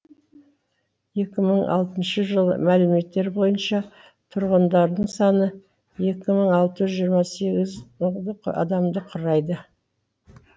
екі мың алтыншы жылы мәліметтер бойынша тұрғындарының саны екі мың алты жүз жиырма сегіз адамды құрайды